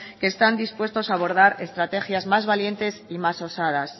que están dispuestos a abordar estrategias más valientes y más osadas